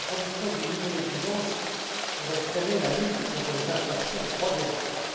D'abord, l'introduction d'une nouvelle exigence pourrait freiner la lutte contre les infractions au droit des marques.